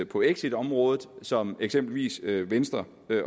på exitområdet som eksempelvis venstre